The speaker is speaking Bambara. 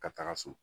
Ka taga so